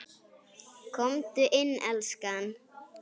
Komdu inn, elskan!